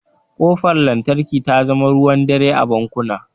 Ƙofar lantarki ta zama ruwan dare a bankuna.